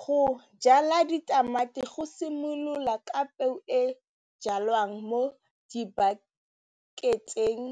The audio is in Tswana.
Go jala ditamati go simolola ka peo e jalwang mo di-backet-eng